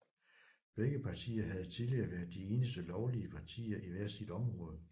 Begge partier havde tidligere været de eneste lovlige partier i hvert sit område